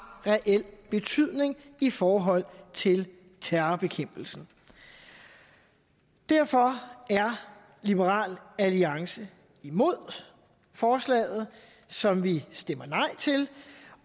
reel betydning i forhold til terrorbekæmpelsen derfor er liberal alliance imod forslaget som vi stemmer nej til